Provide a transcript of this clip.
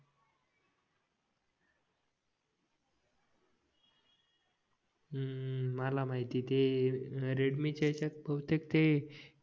हम्म मला माहिती ते रेडमी च्या ह्याच्यात भाऊतेक ते